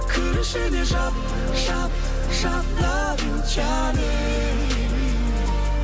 кір ішіне жап жап жап лав ю жаным